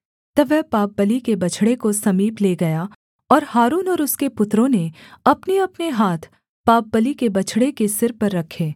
तब वह पापबलि के बछड़े को समीप ले गया और हारून और उसके पुत्रों ने अपनेअपने हाथ पापबलि के बछड़े के सिर पर रखे